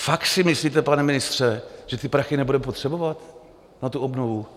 Fakt si myslíte, pane ministře, že ty prachy nebudeme potřebovat na tu obnovu?